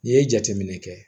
N'i ye jateminɛ kɛ